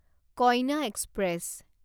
কইনা এক্সপ্ৰেছ